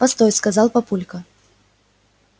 постой сказал папулька